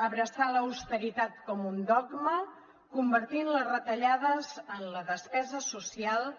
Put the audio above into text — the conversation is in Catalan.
abraçar l’austeritat com un dogma convertint les retallades en la despesa social